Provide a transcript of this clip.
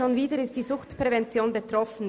Schon wieder ist die Suchtprävention betroffen.